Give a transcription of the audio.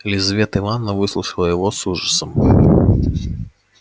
лизавета ивановна выслушала его с ужасом